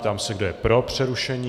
Ptám se, kdo je pro přerušení.